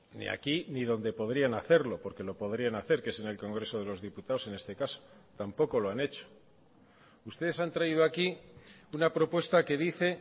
ni aquí ni donde podrían hacerlo porque lo podrían hacer que es en el congreso de los diputados en este caso tampoco lo han hecho ustedes han traído aquí una propuesta que dice